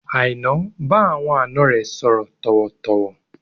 Aina bá àwọn àna rẹ sọ̀rọ̀ tọ̀wọ̀-tọ̀wọ̀